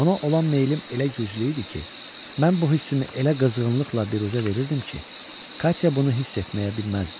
Ona olan meylim elə güclü idi ki, mən bu hissimi elə qızğınlıqla biruzə verirdim ki, Katya bunu hiss etməyə bilməzdi.